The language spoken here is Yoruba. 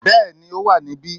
Bẹ́ẹ̀ni ó wà níbí